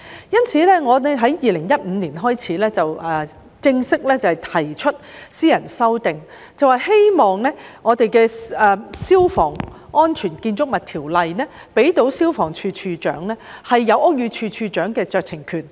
因此，我在2015年開始正式提出私人修訂，希望《消防安全條例》可向消防處處長賦予屋宇署署長的酌情權。